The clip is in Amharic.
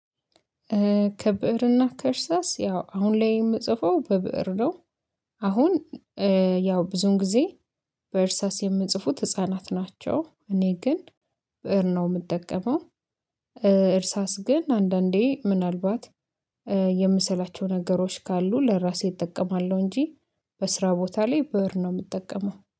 ከብዕርና ከእርሳስ ያው አሁን ላይ የምጽፈው በብእር ነው። አሁን ያው ብዙን ጊዜ በእርሳስ የምንጽፉት ህፃናት ናቸው። እኔ ግን ብእር ነው የምጠቀመው። እርሳስ ግን አንዳንዴ ምናልባት የምስላቸው ነገሮች ካሉ ለራሴ እጠቀማለሁ እንጂ በስራ ቦታ ላይ ብእር ነው የምጠቀመው